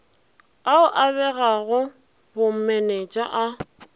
ao a begago bomenetša a